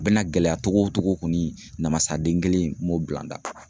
A bɛna gɛlɛya togo togo koni, namasaden kelen n'o bila n da.